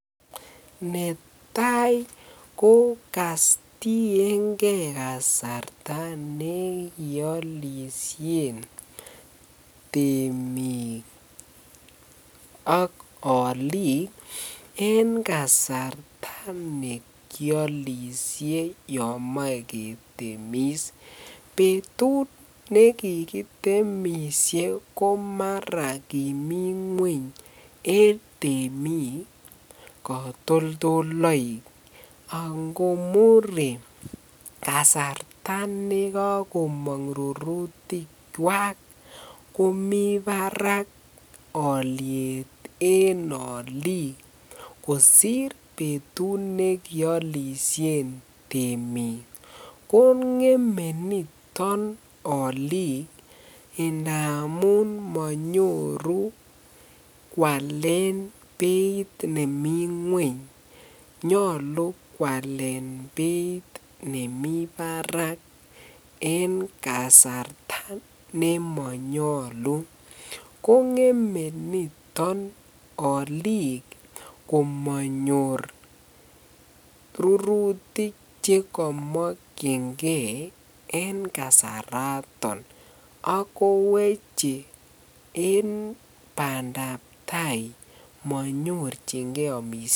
Netai ko katienge kasarta neolishen temiik ak oliik en kasarta nekiolishe yoon moee ketemis, betut nekikitemishe komara kimii ngweny en temik kotoldoloik angomure kasarta nekokomong rurutikwak komii barak oliet en oliik kosir betut nekiolishen temiik, ko ngeme niton oliik ndamun monyoru kwalen nemii ngweny nyolu kwalen beit nemii barak en kasarta nemonyolu, ko ngeme niton oliik komonyor rurutik chekomokyinge en kasaraton ak koweche en bandab taai monyorchinge omishet.